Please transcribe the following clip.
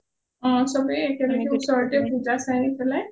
অ চবে একেলগে ওচৰতে পূজা চাই পেলাই